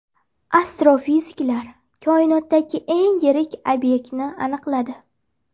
Astrofiziklar koinotdagi eng yirik obyektni aniqladi.